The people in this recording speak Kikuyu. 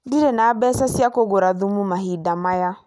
Ndirĩ na mbeca cia kũgũra thumu mahinda maya